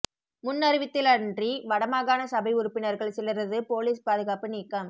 முன் அறிவித்திலன்றி வடமாகாண சபை உறுப்பினர்கள் சிலரது பொலிஸ் பாதுகாப்பு நீக்கம்